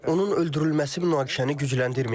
Onun öldürülməsi münaqişəni gücləndirməyəcək.